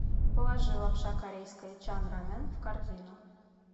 положи лапша корейская чан рамен в корзину